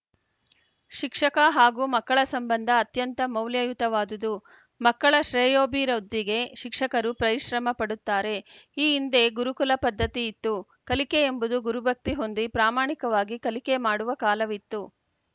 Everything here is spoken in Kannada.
ಶಿಕ್ಷಕ ಹಾಗೂ ಮಕ್ಕಳ ಸಂಬಂಧ ಅತ್ಯಂತ ಮೌಲ್ಯಯುತವಾದುದು ಮಕ್ಕಳ ಶ್ರೇಯೋಭಿವೃದ್ಧಿಗೆ ಶಿಕ್ಷಕರು ಪ್ರರಿಶ್ರಮಪಡುತ್ತಾರೆ ಈ ಹಿಂದೆ ಗುರುಕುಲ ಪದ್ಧತಿ ಇತ್ತು ಕಲಿಕೆ ಎಂಬುದು ಗುರುಭಕ್ತಿ ಹೊಂದಿ ಪ್ರಾಮಾಣಿಕವಾಗಿ ಕಲಿಕೆ ಮಾಡುವ ಕಾಲವಿತ್ತು